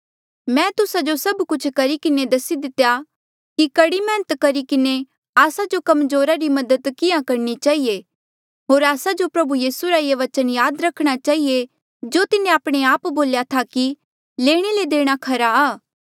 मैं तुस्सा जो सभ कुछ करी किन्हें दसेया कि कड़ी मैहनत करी किन्हें आस्सा जो कमजोरा री मदद किहाँ करणी चहिए होर आस्सा जो प्रभु यीसू रा ये बचन याद रखणा चहिए जो तिन्हें आपणे आप बोल्या था कि लेणे ले देणा खरा आ